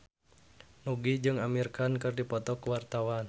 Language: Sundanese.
Nugie jeung Amir Khan keur dipoto ku wartawan